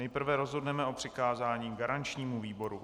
Nejprve rozhodneme o přikázání garančnímu výboru.